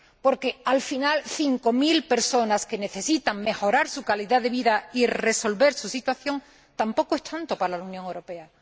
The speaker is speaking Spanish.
Porque, al final, cinco mil personas que necesitan mejorar su calidad de vida y resolver su situación tampoco es tanto para la Unión Europea.